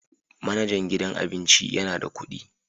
Manajan gidan abincin yana da kuɗi